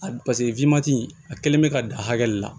A paseke a kɛlen bɛ ka dan hakɛ de la